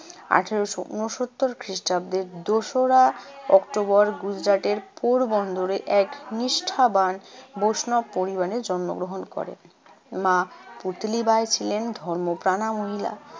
আঠারোশো উনসত্তর খ্রিষ্টাব্দের দোসরা অক্টোবর গুজরাটের পোরবন্দরে এক নিষ্ঠাবান বৈষ্ণব পরিবারে জন্মগ্রহণ করেন। মা পুতলিবাই ছিলেন ধর্মপ্রাণা মহিলা।